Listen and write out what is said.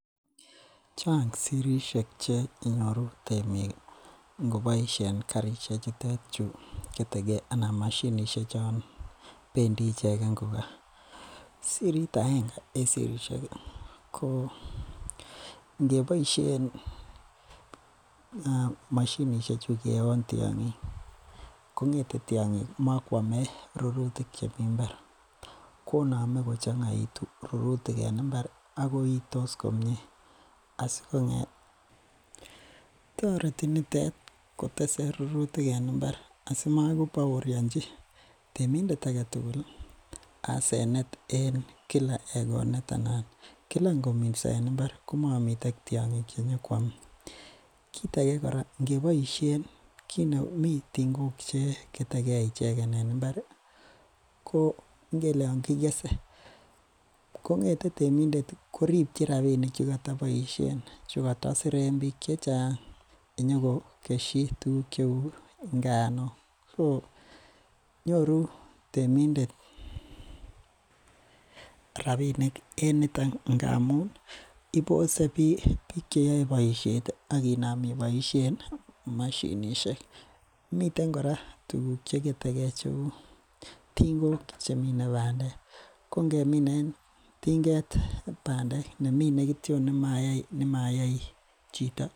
Chang sirisiek chegenyoru ingobasien temik karisiek chegetege chon bendi icheken sirit aenge en sirisiek ih ko ingeboisien mashinisiek chu keon tiang'ik, kong'ete tiang'ik komakoame rurutik chemi Imbar. Ko ame kochang'itu rurutik en imbar ago akoitos komie sikong'et ih toreti nitet kotese rurutik en imbar asimako baorianchi temindet aketugul asenet en Kila egonet anan Kila ingominso en imbar komamiten tiang'ik chenyokuame. Kit age kit age kora inge boisien , mi ting'ok che ketegei ichegen en imbar ih ingele Yoon kikese kong'ete temindet ih , kirichin rabinik chekotaboisien chekatasiren bik chechang into ko kesho tuguk cheuu inganuk so nyoru temindet rabinik en niton ngamun ih ibose bik cheyae baisiet ih akinam ibaishen mashinisiek. Miten kora tuguk cheketegei kouu ting'ok chemine bandek, ko ingeminen ting'et bandek nemine kityon nemayai chito.